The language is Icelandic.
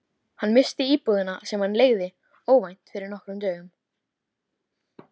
Hann missti íbúðina, sem hann leigði, óvænt fyrir nokkrum dögum.